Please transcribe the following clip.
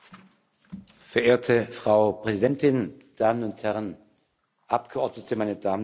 Verehrte Frau Präsidentin, Damen und Herren Abgeordnete, meine Damen und Herren!